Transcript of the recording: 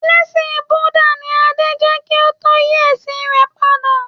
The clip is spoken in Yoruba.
Ẹlẹsin Búdà ni Adé jẹ́ kí ó tó yí ẹ̀sìn rẹ̀ padà